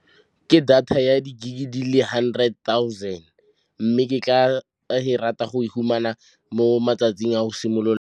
Ke data ya di-gig di le hundred thousand, mme ke tla rata go fumana mo matsatsing a go simolola.